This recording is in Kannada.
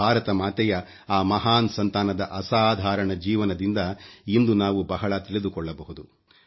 ಭಾರತ ಮಾತೆಯ ಆ ಮಹಾನ್ ಸಂತಾನದ ಅಸಾಧಾರಣ ಜೀವನದಿಂದ ಇಂದು ನಾವು ಬಹಳ ತಿಳಿದುಕೊಳ್ಳಬಹುದು